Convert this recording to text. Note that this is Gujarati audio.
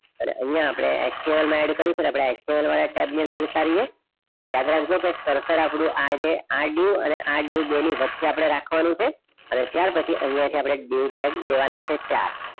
અને અહીંયા આપણે explorer માં add કરીશું આપણે explorer વાળા teb ની અંદર જતા રહીએ યાદ રાખજો કે coarser આપણું આ જે આ dieu અને આ dieu બેની વચ્ચે આપણે રાખવાનું છે અને ત્યાર પછી અહીંયા થી આપણે dieu tag દેવાના છે. ચાર